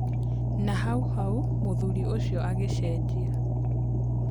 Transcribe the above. Na o hau hau mũthuri ũcio agĩcenjia.